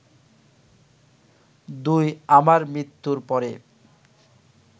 ২ আমার মৃত্যুর পরে